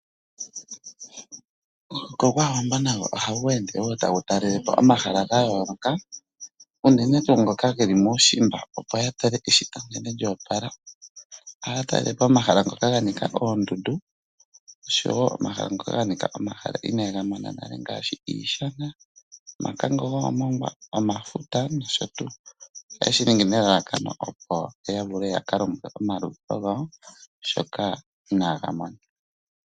Omuhoko gwaawambo nago ohagu ende wo tagu talelepo omahala gayoloka uunene tuu ngoka ngeli mushimba opo yatale eshito nkene lyopala ohaya talelepo omahala ngoka ngani oondundu oshowo omahala ngoka ganika omahala ngoka ina ye ngamona nale ngaashi iishana, omakango gomongwa , omafuta noshotuu ohaye shiningi nelalakano opo ya vulu yaka longe omaluvalo gawo shoka ina gamona.